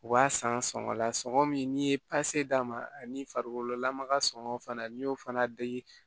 U b'a san sɔngɔ la sɔngɔ min n'i ye d'a ma ani farikololamaga sɔngɔ fana n'i y'o fana dege